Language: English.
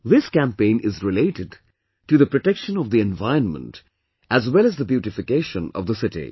This campaign is related to the protection of the environment as well as the beautification of the city